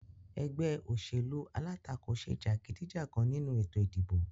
Egbé òṣèlú alátakò se jàgídíjàgan nínu ètò ìdìbò